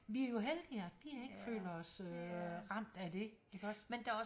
Vi er jo heldige at vi ikke føler os øh ramt af det ik også